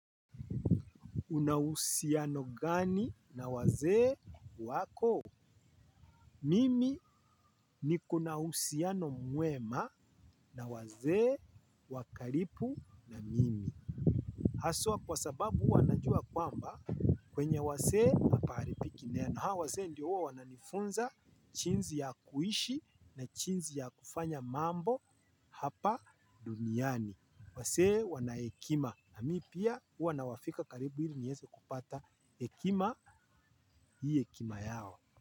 Una uhusiano gani na wazee wako? Mimi niko na uhusiano mwema na wazee wa karibu na mimi. Haswa kwa sababu wanajua kwamba kwenye wazee hapaharibiki neno. Na wazee ndio wananifunza jinsi ya kuishi na jinsi ya kufanya mambo hapa duniani. Wazee wana hekima. Na mimi pia huwa nawafika karibu ili nieze kupata hekima hii hekima yao.